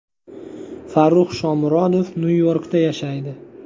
Farrux Shomurodov Nyu-Yorkda yashaydi.